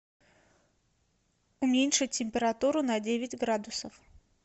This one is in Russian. уменьшить температуру на девять градусов